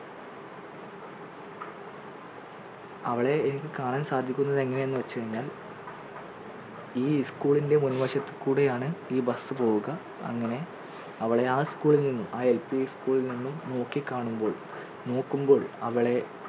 അവളെ എനിക്ക് കാണാൻ സാധിക്കുന്നത് എങ്ങനെ എന്ന് വെച്ച് കഴിഞ്ഞാൽ ഈ school ൻറെ മുൻവശത്ത് കൂടിയാണ് ഈ bus പോവുക അങ്ങനെ അവളെ ആ LP school ൽ നിന്നും ആ school ൽ നിന്നും നോക്കി കാണുമ്പോൾ നോക്കുമ്പോൾ അവളെ